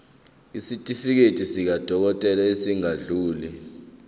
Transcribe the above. isitifiketi sakwadokodela esingadluli